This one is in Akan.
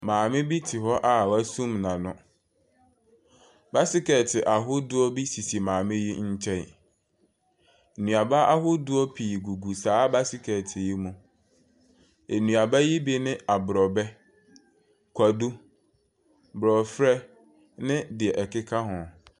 Maame bi te hɔ a w'asum n'ano. Basekɛ ahodoɔ bi sisi maame yi nkyɛn. Nnuaba ahodoɔ pii gugu saa basekɛt yi mu. Ɛnuaba yi ne aborɔbɛ, kwadu, borɔferɛ ne deɛ ɛkeka ho.